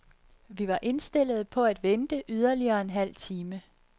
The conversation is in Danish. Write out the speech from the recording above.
Vi var indstillede på at vente yderligere en halv time.